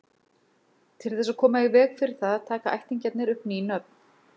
Til þess að koma í veg fyrir það taka ættingjarnir upp ný nöfn.